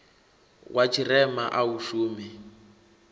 wa tshirema a u shumi